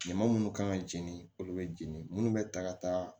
Ɲama munnu kan ka jeni olu bɛ jeni munnu bɛ ta ka taa